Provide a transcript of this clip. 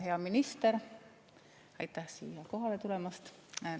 Hea minister, aitäh siia kohale tulemast!